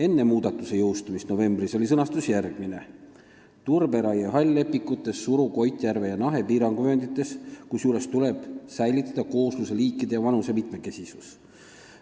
" Enne muudatuse jõustumist novembris oli sõnastus järgmine: "5) turberaie hall-lepikutes Suru, Koitjärve ja Nahe piiranguvööndites, kusjuures tuleb säilitada koosluse liikide ja vanuse mitmekesisus.